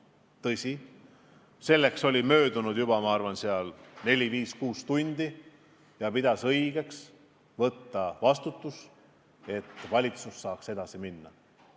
Tõsi, vahepeal oli möödunud oma neli-viis-kuus tundi ja ta pidas õigeks võtta vastutus, et valitsus saaks edasi minna.